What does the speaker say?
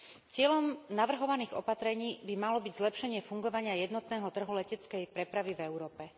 Cieľom navrhovaných opatrení by malo byť zlepšenie fungovania jednotného trhu leteckej prepravy v Európe.